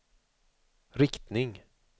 riktning